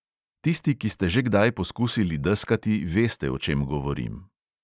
Tisti, ki ste že kdaj poskusili deskati, veste, o čem govorim.